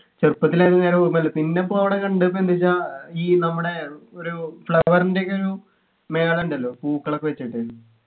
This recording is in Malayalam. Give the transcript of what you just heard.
ചെറുപ്പത്തിൽ എങ്ങാനും ഓർമയുള്ളു പിന്നെപ്പോണ് കണ്ട്ന്ന് എന്ന് വെച്ചാ ഈ നമ്മുടെ ഒരു flower ൻ്റെ ഒക്കെ ഒരു മേള ഉണ്ടല്ലോ പൂക്കളൊക്കെ വച്ചിട്ട്